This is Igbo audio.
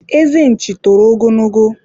eze nchi toro ogologo